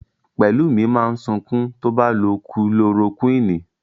Pẹ̀lúmi máa sunkún tó bá lo Kulorokúìnì.